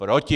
Proti!